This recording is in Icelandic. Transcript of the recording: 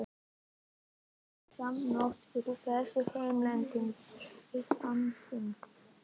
Við sátum langt framá nótt yfir þessu heillandi viðfangsefni.